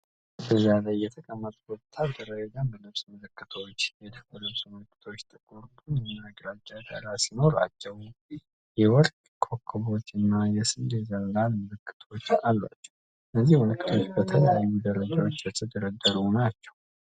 ጠረጴዛ ላይ የተቀመጡ ወታደራዊ የደንብ ልብስ ምልክቶች። የደንብ ልብሱ ምልክቶቹ ጥቁር፣ ቡኒና ግራጫ ዳራ ሲኖራቸው፣ የወርቅ ኮከቦች እና የስንዴ ዘለላ ምልክቶች አሏቸው። እነዚህ ምልክቶች በተለያዩ ደረጃዎች የተደረደሩ ናቸው።